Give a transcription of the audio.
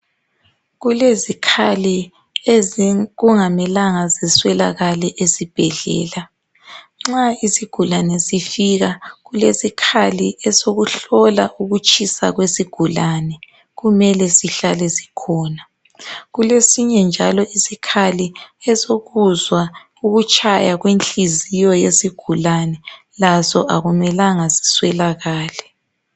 Kulezikhali ezi kungamelanga ziswelakale izibhedlela. Nxa isigulane sifika kulesikhali esokuhlola ukutshisa kwesigulane. Kumele sihlale sikhona. Kulesinye njalo isikhali esokuzwa ukutshaya kwenhliziyo yesigulane. Laso akumelanga ziswelakale.